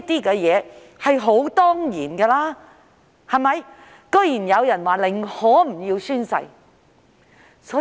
這是理所當然的，但居然有人表示寧可不宣誓。